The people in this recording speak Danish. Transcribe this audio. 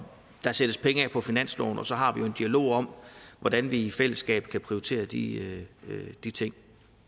der sættes penge af på finansloven og så har vi en dialog om hvordan vi i fællesskab kan prioritere de de ting